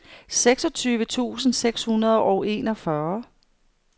seksogtyve tusind seks hundrede og enogfyrre